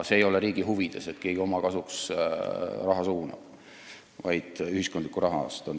See ei ole riigi huvides, et keegi oma kasuks kuhugi raha suunab, ja siin on jutt ühiskondlikust rahast.